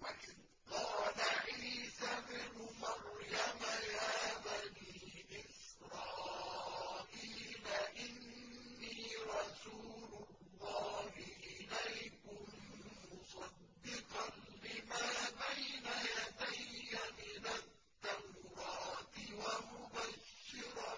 وَإِذْ قَالَ عِيسَى ابْنُ مَرْيَمَ يَا بَنِي إِسْرَائِيلَ إِنِّي رَسُولُ اللَّهِ إِلَيْكُم مُّصَدِّقًا لِّمَا بَيْنَ يَدَيَّ مِنَ التَّوْرَاةِ وَمُبَشِّرًا